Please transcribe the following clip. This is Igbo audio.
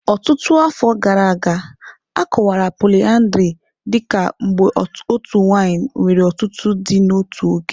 Ọtụtụ afọ gara aga, a kọwara poliyandri dị ka mgbe otu nwanyị nwere ọtụtụ di n'otu oge.